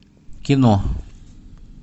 кино